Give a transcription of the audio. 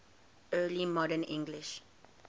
early modern english